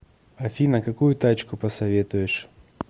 афина какую тачку посоветуешь